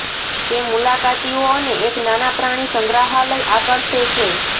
તે મુલાકાતીઓ અને એક નાના પ્રાણી સંગ્રહાલય આકર્ષે છે